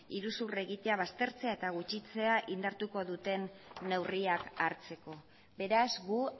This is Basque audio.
iruzur egitea baztertzea eta gutxitzea indartuko duten neurriak hartzeko beraz gu